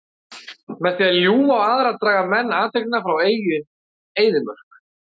Með því að ljúga á aðra draga menn athyglina frá eigin eyðimörk.